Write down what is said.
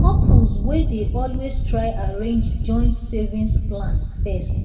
couples wen dey always try arrange joint savings plan first